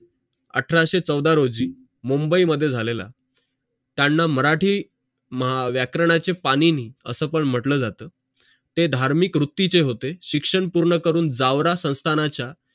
अठराशे चवदा रोजी मुंबई मध्ये झालेला त्यांना मराठी व्याकरणाचे पाणी असं पण मनलं जाते ते धार्मिक वृत्तीचे होते शिक्षण पूर्ण करून जावरा संस्थानाचा